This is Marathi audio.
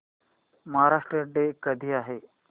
महाराष्ट्र डे कधी आहे